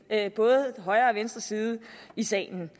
at vi både højre og venstre side i salen